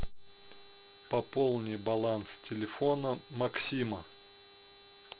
пополни баланс телефона максима